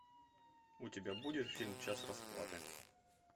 у тебя будет фильм час расплаты